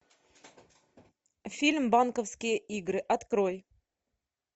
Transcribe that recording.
фильм банковские игры открой